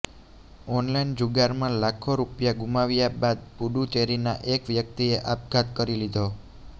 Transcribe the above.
online જુગારમાં લાખો રૂપિયા ગુમાવ્યા બાદ પુડુચેરીના એક વ્યક્તિએ આપઘાત કરી લીધો